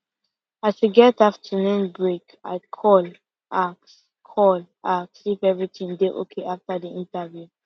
as we get afternoon break i call ask call ask if everything dey okay after the interview